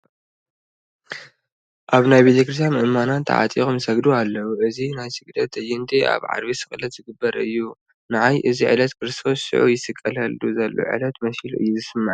ኣብ ናይ ቤተ ክርስቲያን ምእመናን ተዓጢቖም ይሰግዱ ኣለዉ፡፡ እዚ ናይ ስግደት ትእይንት ኣብ ዓርቢ ስቕለት ዝግበር እዩ፡፡ ንዓይ እዚ ዕለት ክርስቶስ ሽዑ ይስቀለሉ ዘሎ ዕለት መሲሉ እዩ ዝስምዐኒ፡፡